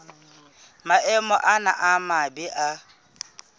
maemo ana a mabe a